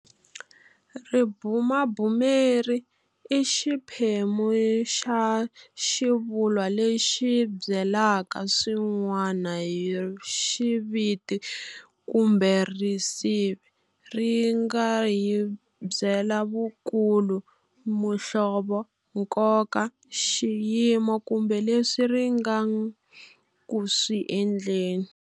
Ribumabumeri i xiphemu xa xivulwa lexi hi byelaka swin'wana hi riviti kumbe risivi. Ri nga hi byela vukulu, muhlovo, nkoka, xiyimo kumbe leswi ri nga ku swi endleni.